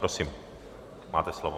Prosím, máte slovo.